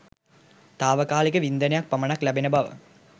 තාවකාලික වින්දනයක් පමණක් ලැබෙන බව